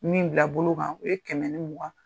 Min bila bolo kan o ye kɛmɛ mugan